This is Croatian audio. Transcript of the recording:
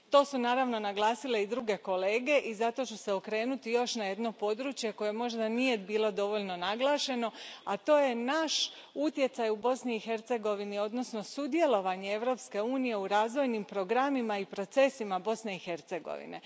To su, naravno, naglasili i drugi kolege i zato ću se okrenuti još na jedno područje koje možda nije bilo dovoljno naglašeno, a to je naš utjecaj u Bosni i Hercegovini, odnosno sudjelovanje Europske unije u razvojnim programima i procesima Bosne i Hercegovine.